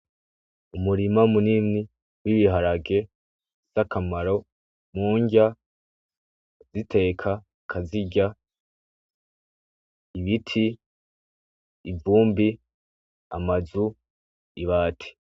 Umurima munini w'ibiharage, zakamaro murya kuziteka ukazirya. Ibiti, ivumbi, amazu, ibati.